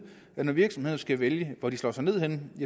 at når virksomhederne skal vælge hvor de slår sig ned henne